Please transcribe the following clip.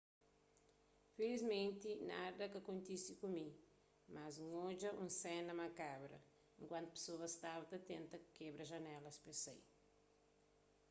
filiimenti nada ka kontise ku mi mas n odja un sena makabra enkuantu pesoas staba ta tenta kebra janelas pes sai